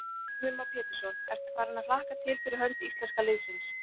Heimir Már Pétursson: Ertu farin að hlakka til fyrir hönd íslenska liðsins?